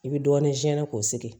I bi dɔɔnin k'o sigi